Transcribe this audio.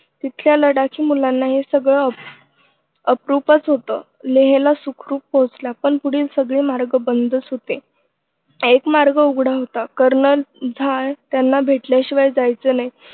तिथल्या लढाकी मुलांना हे सगळं अप्रूपच होत लेहला सुखरूप पोचला पण पुढील सगळे मार्ग बंदच होते. एक मार्ग उघडा होता कर्नल झा त्यांना भेटल्याशिवाय जायचं नाही